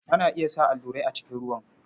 Ana iya sa allurai a cikin ruwan.